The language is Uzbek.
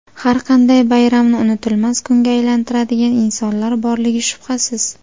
Har qanday bayramni unutilmas kunga aylantiradigan insonlar borligi shubhasiz.